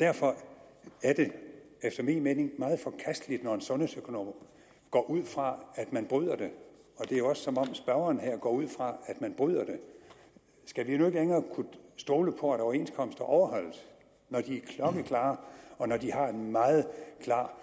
derfor er det efter min mening meget forkasteligt når en sundhedsøkonom går ud fra at man bryder det det er også som om spørgeren her går ud fra at man bryder det skal vi nu ikke længere kunne stole på at overenskomster overholdes når de er klokkeklare og når de har en meget klar